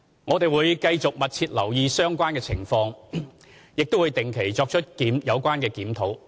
我們會繼續密切留意相關情況及定期作出檢討。